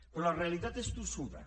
però la realitat és tossuda